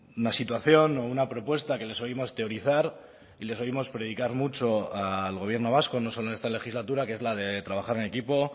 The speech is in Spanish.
una situación o una propuesta que les oímos teorizar y les oímos predicar mucho al gobierno vasco no solo en esta legislatura que es la de trabajar en equipo